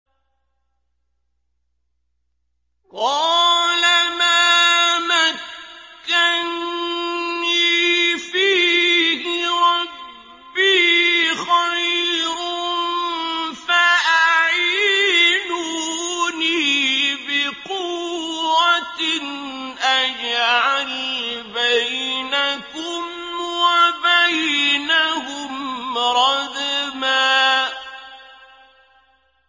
قَالَ مَا مَكَّنِّي فِيهِ رَبِّي خَيْرٌ فَأَعِينُونِي بِقُوَّةٍ أَجْعَلْ بَيْنَكُمْ وَبَيْنَهُمْ رَدْمًا